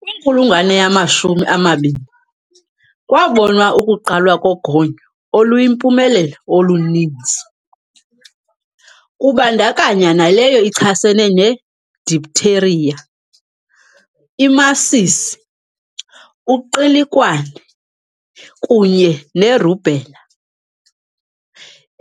Kwinkulungwane yamashumi amabini kwabonwa ukuqalwa kogonyo oluyimpumelelo oluninzi, kubandakanywa naleyo ichasene ne-diphtheria, imasisi, uqilikwane, kunye nerubella.